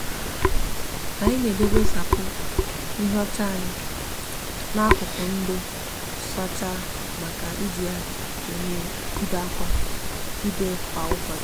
anyi n'edebe sapo nhiocha anyi na akuku odo nsacha maka iji ya ene ibe kwa ibe kwa ubochi.